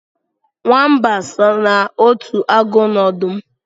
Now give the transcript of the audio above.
Nwamba so n'otu agụ na ọdụm